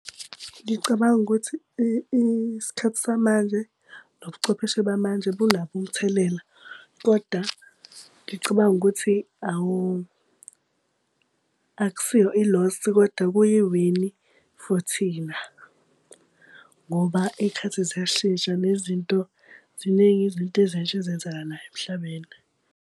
Ngicabanga ukuthi isikhathi samanje nobuchwepheshe bamanje bunabo umthelela, koda ngicabanga ukuthi akusiyo i-loss kodwa kuyiwini for thina. Ngoba iy'khathi ziyashintsha nezinto, ziningi izinto ezintsha ezenzakalayo emhlabeni.